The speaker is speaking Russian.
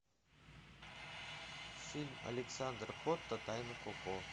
фильм александра котта тайны коко